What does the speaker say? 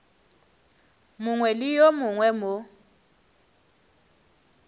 mongwe le yo mongwe mo